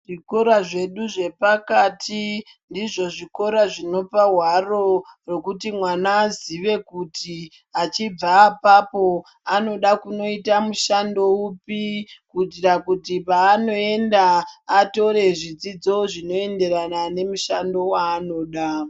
Zvikora zvedu zvepakati ndizvo zvikora zvinopa hwaro rwekuti mwana azive kuti achibva apapo anoda kunoita mushando upi. Kuitira kuti paanoenda atore zvidzidzo zvinoenderana nemushando vaanoda.